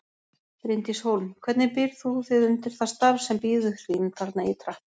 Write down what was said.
Bryndís Hólm: Hvernig býrð þú þig undir það starf sem bíður þín þarna ytra?